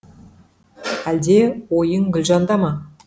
әл де ойың гүлжан да ма